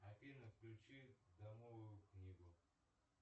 афина включи домовую книгу